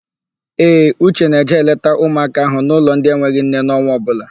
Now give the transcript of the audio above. Ee, Uche na-eje eleta ụmụaka ahụ n'ụlọ ndị enweghị nne n'ọnwa ọbụla.